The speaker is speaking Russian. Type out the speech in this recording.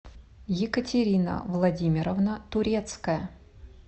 екатерина владимировна турецкая